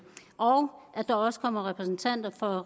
og at der også kommer repræsentanter fra